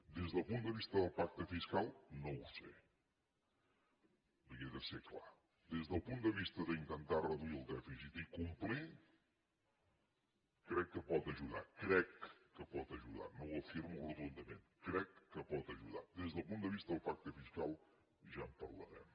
des del punt de vista del pacte fiscal no ho sé li he de ser clar des del punt de vista d’intentar reduir el dèficit i complir crec que pot ajudar crec que pot ajudar no ho afirmo rotundament però crec que pot ajudar des del punt de vista del pacte fiscal ja en parlarem